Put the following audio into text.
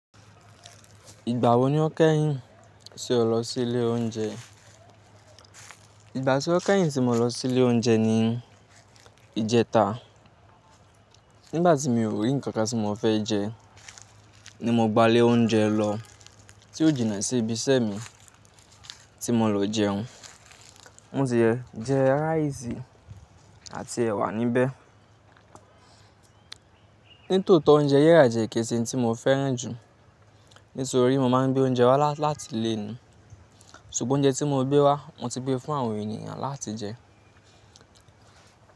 Ìgbà wo ni o kẹ́yìn tí o lọ sí ilé oúnjẹ? Ìgbà tí mo kẹ́yìn tí mo lọ sí ilé oúnjẹ ni ìjẹta. Nígbà tí mi ò rí nǹkan kan tí mo fẹ́ jẹ ni mo gba ilé oúnjẹ lọ tí ó jìnnà sí ibi iṣẹ́ mi tí mo lọ jẹun. Mo ti e jẹ rice àti ẹwà níbẹ̀. Nítòótọ́ oúnjẹ ríra jẹ́ kí n ṣe òun mo fẹ́ràn jù nítorí mo máa ń gbé oúnjẹ wá láti ilè ni. Ṣùgbọ́n oúnjẹ tí mo gbé wá mo ti gbé fún àwọn ènìyàn láti jẹ.